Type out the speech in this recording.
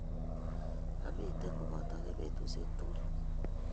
Amite kopotok eng petusiek tugul